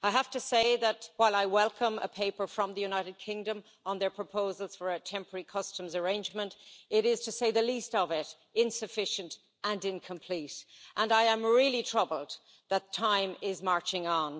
I have to say that, while I welcome a paper from the United Kingdom on their proposals for a temporary customs arrangement, it is, to say the least of it, insufficient and incomplete, and I am really troubled that time is marching on.